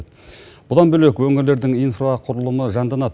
бұдан бөлек өңірлердің инфрақұрылымы жанданады